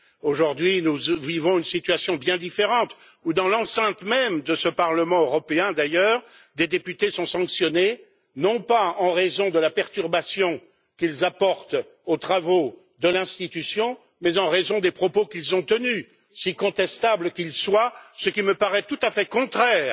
Aujourd'hui, nous vivons une situation bien différente où, dans l'enceinte même de ce Parlement européen, d'ailleurs, des députés sont sanctionnés, non pas en raison de la perturbation qu'ils apportent aux travaux de l'Institution, mais en raison des propos qu'ils ont tenus, si contestables qu'ils soient, ce qui me paraît tout à fait contraire,